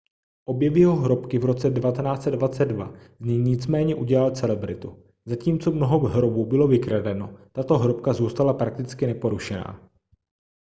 objev jeho hrobky v roce 1922 z něj nicméně udělal celebritu zatímco mnoho hrobů bylo vykradeno tato hrobka zůstala prakticky neporušená